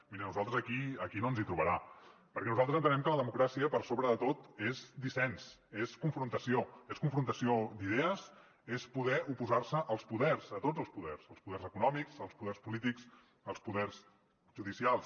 miri a nosaltres aquí aquí no ens hi trobarà perquè nosaltres entenem que la democràcia per sobre de tot és dissensió és confrontació d’idees és poder oposar se als poders a tots els poders al poders econòmics als poders polítics als poders judicials